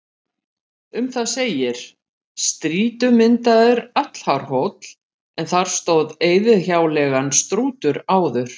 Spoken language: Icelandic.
Um það segir: Strýtumyndaður, allhár hóll, en þar stóð eyðihjáleigan Strútur áður.